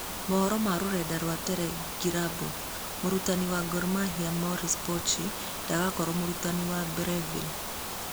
(Mohoro ma rũrenda rwa teregirabu) Mũrutani wa Gor Mahia Maurice Pocho ndagakorwo mũrutani wa Breville.